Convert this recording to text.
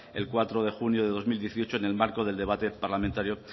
el cuatro de junio del dos mil dieciocho en el marco del debate parlamentario